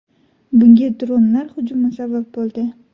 Bunga dronlar hujumi sabab bo‘ldi.